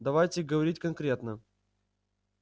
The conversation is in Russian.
давайте говорить конкретно